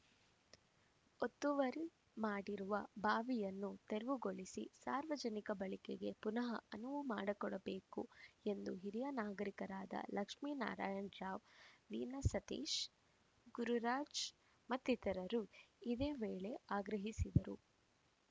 ಒತ್ತುವರಿ ಮಾಡಿರುವ ಬಾವಿಯನ್ನು ತೆರವುಗೊಳಿಸಿ ಸಾರ್ವಜನಿಕ ಬಳಕೆಗೆ ಪುನಃ ಅನುವು ಮಾಡಿ ಕೊಡಬೇಕು ಎಂದು ಹಿರಿಯ ನಾಗರಿಕರಾದ ಲಕ್ಷ್ಮಿನಾರಾಯಣ ರಾವ್‌ ವೀನಸ್‌ ಸತೀಶ ಗುರುರಾಜ ಮತ್ತಿತರರು ಇದೇ ವೇಳೆ ಆಗ್ರಹಿಸಿದರು